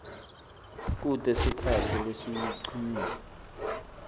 kute sikhatsi lesincunyiwe